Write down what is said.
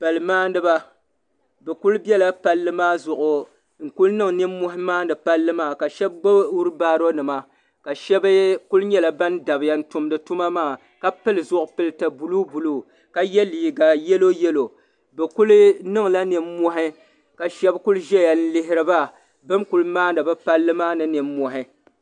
Pali maaniba bɛ kuli biɛla palli maa zuɣu n kuli niŋ ninmohi maa ni pali maa ka sheba gbibi fiilibaro nima ka sheba kuli nyɛla ban dabiya n tumdi tuma maa ka pili zipilti buluu buluu la ye liiga yelo yelo bɛ kuli niŋla ninmohi ka sheba kuli ʒɛya n lihiri ba bini kuli maani bɛ Palli maa ni ninmohi.